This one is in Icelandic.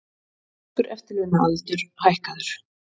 Franskur eftirlaunaaldur hækkaður